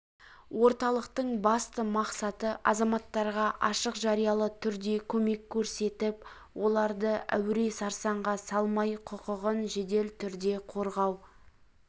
орталықтың басты мақсаты азаматтарға ашық жариялы түрде көмек көрсетіп оларды әуре-сарсаңға салмай құқығын жедел түрде қорғау